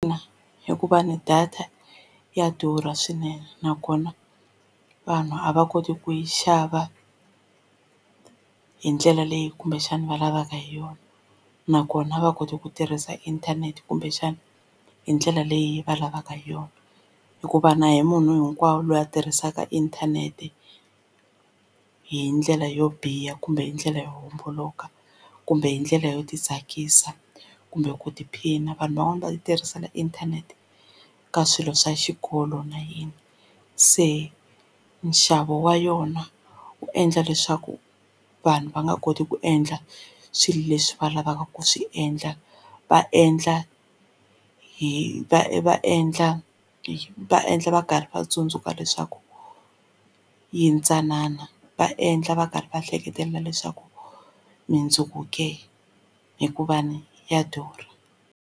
hikuva ni data ya durha swinene nakona vanhu a va koti ku yi xava hi ndlela leyi kumbexana va lavaka hi yona nakona a va koti ku tirhisa inthanete kumbexana hi ndlela leyi va lavaka hi yona hikuva na a hi munhu hinkwawo loyi a tirhisaka inthanete hi ndlela yo biha kumbe hi ndlela yo homboloka kumbe hi ndlela yo titsakisa kumbe ku tiphina vanhu van'wana va titirhisela inthanete ka swilo swa xikolo na yini se nxavo wa yona wu endla leswaku vanhu va nga koti ku endla swilo leswi va lavaka ku swi endla va endla hi va va endla endla va endla va karhi va tsundzuka leswaku yintsanana va endla va karhi va hleketelela leswaku mindzuku ke hikuva ni ya durha.